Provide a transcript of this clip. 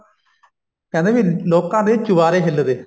ਕਹਿੰਦੇ ਵੀ ਲੋਕਾਂ ਦੇ ਚਵਾਰੇ ਹਿੱਲਦੇ